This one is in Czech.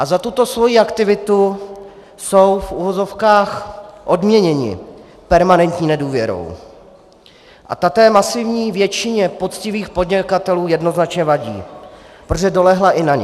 A za tuto svoji aktivitu jsou v uvozovkách odměněni permanentní nedůvěrou a ta té masivní většině poctivých podnikatelů jednoznačně vadí, protože dolehla i na ně.